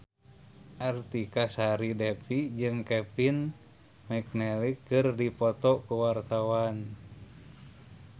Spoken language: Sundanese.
Artika Sari Devi jeung Kevin McNally keur dipoto ku wartawan